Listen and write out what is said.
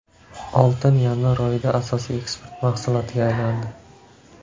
Oltin yanvar oyida asosiy eksport mahsulotiga aylandi.